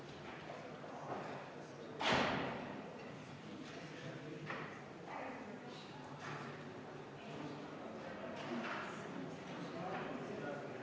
Kohe selle kõrvale toon ühe n-ö alasti näite sellest, mismoodi riigi rahaga ümber käiakse, ehk sellesama Rahandusministeeriumi tellitud aktsiisiuuringu, mille hinnasildil on ikka tohutu number.